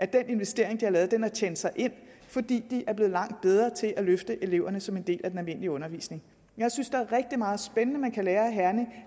den investering de har lavet tjent sig ind fordi de er blevet langt bedre til at løfte eleverne som en del af den almindelige undervisning jeg synes der er rigtig meget spændende man kan lære af herning